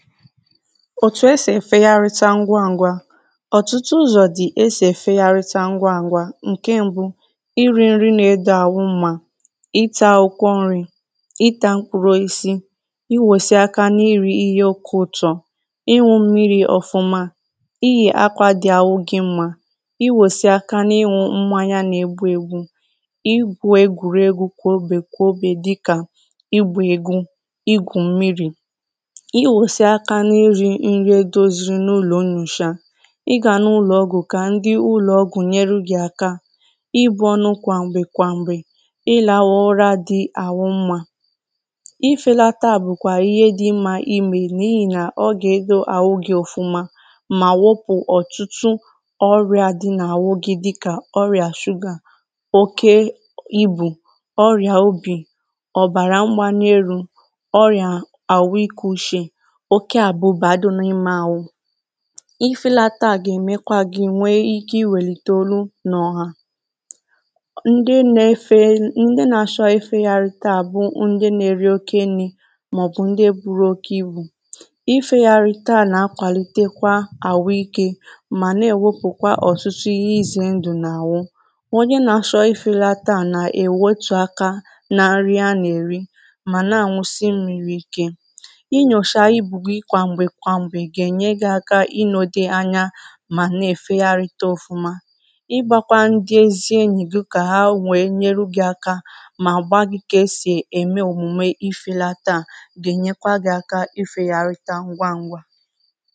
òtù esì efegharịcha ngwaṅgwa ọtụtụ ụzọ̀ dì esì efegharịcha ngwaṅgwa. ǹkè mbụ̇ iri̇ nri na-edọ àhụ mmȧ, ị taa akwụkwọ nri̇, ị taa mkpụrụ osisi, i wùlesì aka na-iri̇ ihe oke ụ̀tọ, ịwu̇ mmiri̇ ọ̀fụma, i yè akwȧ dị àhụ gị mmȧ i wùsì aka na-ịwu̇ mmanya na-egbu̇ egbu̇, ị gwu̇ egwùregwu̇ kwòobè kwòobè dịkà ịgbȧ egwu, ịgwù mmiri̇, i gà-anà ụlọ̀ ọgwụ̀ kà ndi ụlọ̀ ọgwụ̀ nyere gị̀ aka ị bụ̇ ọnụ kwàm̀gbè kwàm̀gbè, ị làghọ̇ ụra dị àwụ mmȧ. ị felata bụ̀kwà ihe dị mmȧ emè n’ihi nà ọ gà-èdo àwụ gị̀ ọ̀fụma mà wụpụ̀ ọ̀tụtụ ọrịà dị nà-àwụ gị̀ dị kà ọrịà shụgà, oke ịbụ̇ ọrịà obì, ọ̀bàrà mgbanièrù, ọrịà àwụ iku̇ uchè, oke abụba dị n'ime ahụ. ịfėlata gà èmekwa gi̇ nwee ike iwèlìtè olu nà ọ̀hà. ndị na-asho ịfėchanịta bụ ndị na-eri oke nni̇ màọ̀bụ̀ ndị buru oke ibù ịfėyarịta à nà-akwàlitekwa àhụ ike mà na-èwepùkwa ọ̀tụtụ ihe ịzị̇ ndụ̀ nà-àhụ. Onye nà-achọ ịfėlata à nà-èwetù aka na nri a nà-èri mà na àṅụsị mmiri̇ ike. inyocha ibu gị kwámgbe kwámgbe ga enye gị áká na i na-èfeyarịta ọ̀fụma. ịgbȧkwa ndị ezi enyì gị kà ha nwèe nyere gị̇ aka mà gba gị kà e sì ème òmùme ịfėlata a gà-ènyekwa gị̇ aka ịfėyarịta ngwa ngwa